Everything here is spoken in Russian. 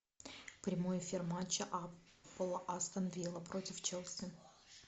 прямой эфир матча апл астон вилла против челси